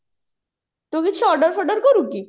ତୁ କିଛି order କରୁକି